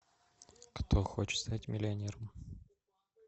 кто хочет стать миллионером